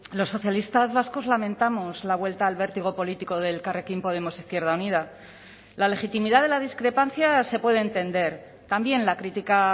los socialistas vascos lamentamos la vuelta al vértigo político de elkarrekin podemos izquierda unida la legitimidad de la discrepancia se puede entender también la crítica